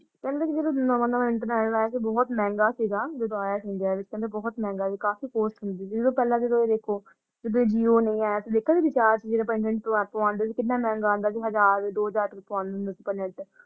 ਕਹਿੰਦੇ ਨੇ ਜਦੋ ਨਵਾਂ-ਨਵਾਂ internet ਆਯਾ ਸੀ ਬਹੁਤ ਮਹਿੰਗਾ ਸੀਗਾ ਜਦੋ ਆਯਾ ਸੀ India ਵਿਚ ਕਹਿੰਦੇ ਬਹੁਤ ਮਹਿੰਗਾ ਸੀ ਕਾਫੀ ਕੋਸਟ ਹੁੰਦੀ ਸੀ ਜਿਦਾ ਦੇਖੋ ਜਦੋ JIO ਨਹੀਂ ਆਯਾ ਸੀ ਦੇਖਿਆ ਨੀ ਕਿੰਨਾ ਮਹਿੰਗਾ ਆਂਦਾ ਸੀ ਹਜ਼ਾਰ, ਦੋ ਹਜ਼ਾਰ ਦਾ ਪਾਉਂਦੀ ਸੀ ਅੱਪਾ ਨੈਟ ।